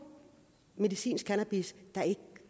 medicinsk cannabis der ikke